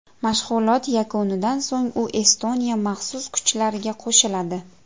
Mashg‘ulot yakunidan so‘ng u Estoniya maxsus kuchlariga qo‘shiladi.